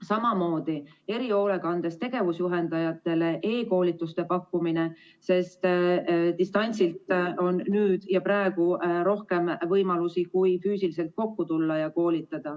Samamoodi erihoolekandes tegevusjuhendajatele e-koolituste pakkumine, sest distantsilt koolitamiseks on nüüd ja praegu rohkem võimalusi kui füüsiliselt kokku tulles.